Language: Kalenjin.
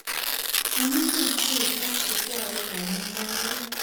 Amunee sikechob chukwaitab mugaret